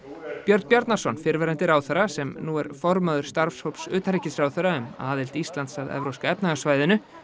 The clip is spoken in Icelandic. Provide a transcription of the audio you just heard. Björn Bjarnason fyrrverandi ráðherra sem nú er formaður starfshóps utanríkisráðherra um aðild Íslands að Evrópska efnahagssvæðinu